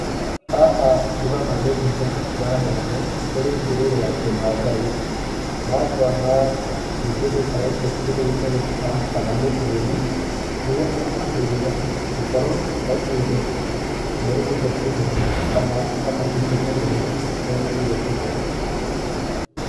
Haha ndĩrona nĩ ũtungata ũraheanũo, kũrĩ ndũrĩrĩ ya kĩmaathai. Nangona nĩ kĩndũ marekĩra kĩndũ gĩtagũo stamp kana mũhũri, nĩguo aramahũrĩra, gũkorũo he kĩndũ merĩgĩgĩire kũheo kana mega merekeire kũheo.